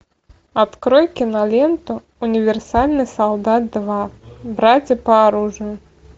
открой киноленту универсальный солдат два братья по оружию